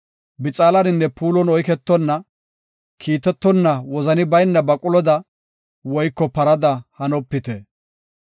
Bixaalaninne puulon oyketonna; kiitetonna wozani bayna baquloda woyko parada hanopite.